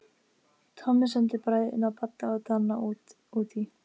Tommi sendi bræðurna Badda og Danna útí